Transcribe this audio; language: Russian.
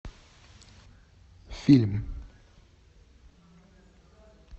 фильм